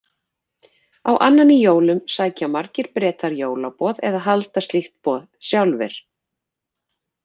Á annan í jólum sækja margir Bretar jólaboð eða halda slíkt boð sjálfir.